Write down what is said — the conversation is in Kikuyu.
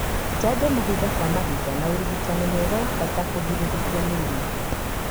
Njanjo mahinda kwa mahinda na ũrigitani mwega nĩ wa bata kũgiririria mĩrimũ.